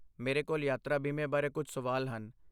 ਮੇਰੇ ਕੋਲ ਯਾਤਰਾ ਬੀਮੇ ਬਾਰੇ ਕੁਝ ਸਵਾਲ ਹਨ।